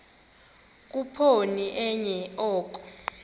khuphoni enye oko